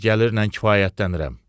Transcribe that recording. Az gəlirlə kifayətlənirəm.